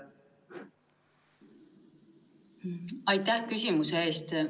Aitäh küsimuse eest!